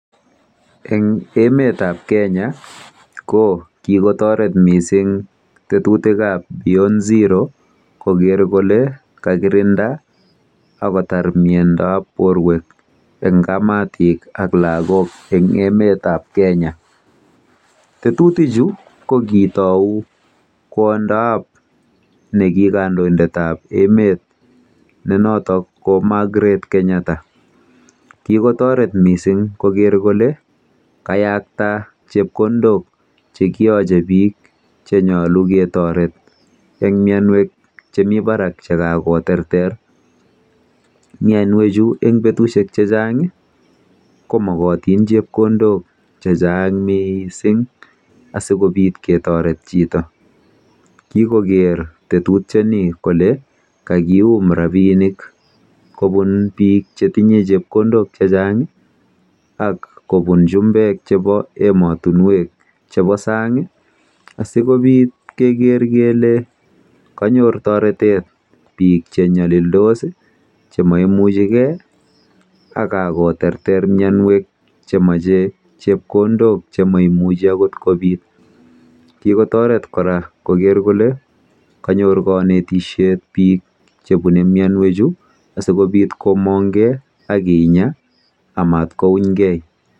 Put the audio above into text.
Eng emetab kenya ko kikotoret mising tetutikab Beyond Zero koker kole kakirinda akotar ng'alekab borwek eng kamatik ak lagok eng emetab Kenya. Tetutichu kokitou kwondab nekikandoindetab emet noto ko Magret Kenyatta.